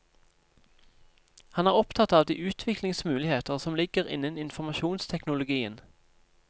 Han er opptatt av de utviklingsmuligheter som ligger innen informasjonsteknologien.